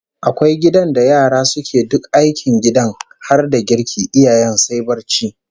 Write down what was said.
Akwai gidan da yara suke duk aikin gidan har da girki, iyayen sai barci